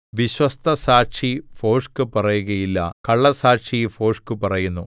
വിശ്വസ്തസാക്ഷി ഭോഷ്ക് പറയുകയില്ല കള്ളസ്സാക്ഷി ഭോഷ്ക് പറയുന്നു